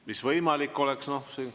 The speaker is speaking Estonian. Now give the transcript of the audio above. Mis võimalik oleks?